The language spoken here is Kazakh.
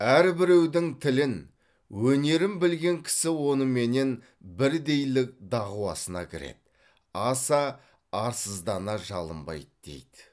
әрбіреудің тілін өнерін білген кісі оныменен бірдейлік дағуасына кіреді аса арсыздана жалынбайды дейді